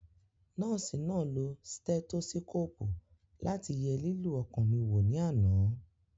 Nọ́ọ̀sì náà lo stẹ́tósíkòpù láti ye lílù ọkàn mi wò ní àná